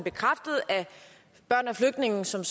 børn af flygtninge som